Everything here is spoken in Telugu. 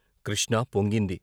కృష్ణ పొంగింది.